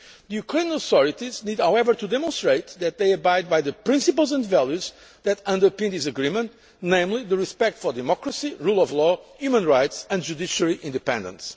year. The Ukrainian authorities need, however, to demonstrate that they abide by the principles and values that underpin this agreement, namely respect for democracy, the rule of law, human rights and judiciary independence.